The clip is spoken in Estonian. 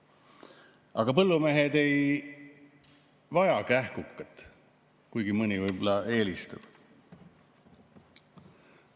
Aga põllumehed ei vaja kähkukat, kuigi mõni võib-olla eelistab.